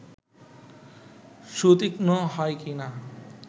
সুতীক্ষ্ম হয় কি না